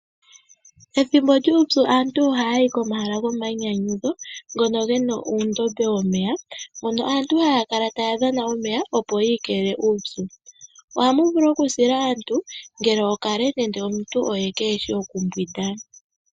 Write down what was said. Ethimbo lyuupyu aantu ohaya yi pomahala gomainyanyudho , ngono gena uundombe womeya, mono aantu haya kala taya dhana omeya opo yiikelele kuupyu. Ohamu vulu okusila aantu ngele okale nenge omuntu oye keeshi okumbwinda.